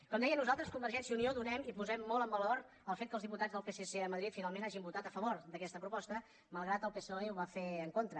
com deia nosaltres convergència i unió donem i posem molt en valor el fet que els diputats del psc a madrid finalment hagin votat a favor d’aquesta proposta malgrat que el psoe ho va fer en contra